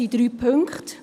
es sind drei Punkte.